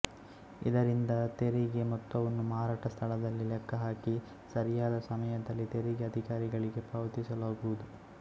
ಇದರಿಂದ ತೆರಿಗೆ ಮೊತ್ತವನ್ನು ಮಾರಾಟ ಸ್ಥಳದಲ್ಲಿ ಲೆಕ್ಕಹಾಕಿ ಸರಿಯಾದ ಸಮಯದಲ್ಲಿ ತೆರಿಗೆ ಅಧಿಕಾರಿಗಳಿಗೆ ಪಾವತಿಸಲಾಗುವುದು